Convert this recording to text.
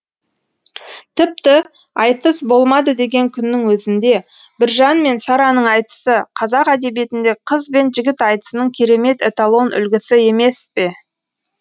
тіпті айтыс болмады деген күннің өзінде біржан мен сараның айтысы қазақ әдебиетіндегі қыз бен жігіт айтысының керемет эталон үлгісі емес пе